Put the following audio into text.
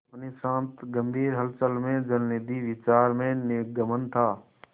अपनी शांत गंभीर हलचल में जलनिधि विचार में निमग्न था